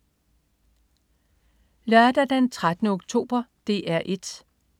Lørdag den 13. oktober - DR 1: